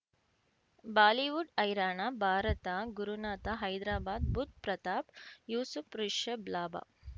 Bollywood ಹೈರಾಣ ಭಾರತ ಗುರುನಾಥ ಹೈದ್ರಾಬಾದ್ ಬುಧ್ ಪ್ರತಾಪ್ ಯೂಸುಫ್ ರಿಷಬ್ ಲಾಭ